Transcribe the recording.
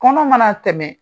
Kɔnɔ mana tɛmɛ